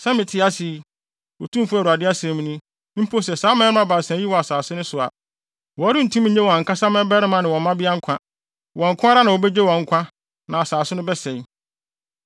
sɛ mete ase yi, Otumfo Awurade asɛm ni, mpo sɛ saa mmarima baasa yi wɔ asase no so a, wɔrentumi nnye wɔn ankasa mmabarima ne mmabea nkwa. Wɔn nko ara na wobegye wɔn nkwa na asase no bɛsɛe.